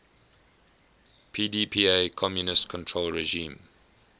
pdpa communist controlled regime